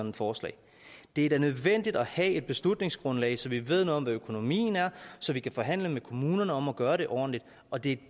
et forslag det er da nødvendigt at have et beslutningsgrundlag så vi ved noget om hvad økonomien er og så vi kan forhandle med kommunerne om at gøre det ordentligt og det